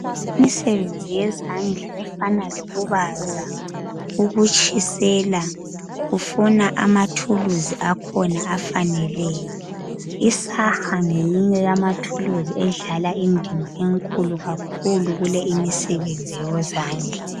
Imisebenzi yezandla efana lokubaza ukutshisela kufuna amathuluzi akhona afaneleyo isaha ngeyinye yamathuluzi edlala indima enkulu kakhulu kuleyi imisebenzi yezandla.